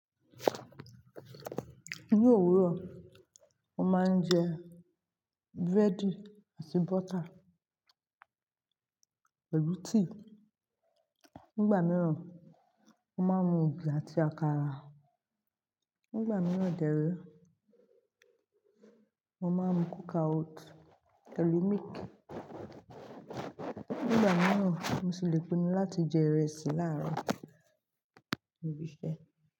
Ní òwúrọ̀, mo máa ń jẹ búrẹ́dì àti bọ́tà, pẹ̀lú tíì. Nígbà mìíràn, mo má n mu ògì àti àkàrà. Nígbà mìíràn dẹ́rẹ́, mo máa mu kókoawótì pẹ̀lú mílìkì. Nígbà mìíràn, mo sì le pinnu láti jẹ ìrẹsì láàárọ̀, lò ibí ṣẹ.